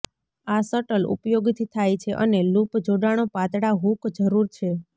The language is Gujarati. આ શટલ ઉપયોગથી થાય છે અને લૂપ જોડાણો પાતળા હૂક જરૂર છે